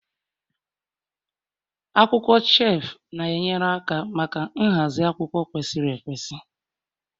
Akwụkwọ shelf na-enyere aka maka nhazi akwụkwọ kwesịrị ekwesị